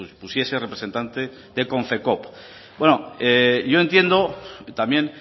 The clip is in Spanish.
pusiese representante de konfekoop yo entiendo y también